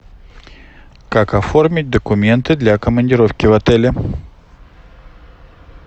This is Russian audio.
как оформить документы для командировки в отеле